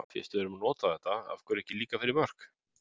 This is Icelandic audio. Fyrst við erum að nota þetta, af hverju ekki líka fyrir mörk?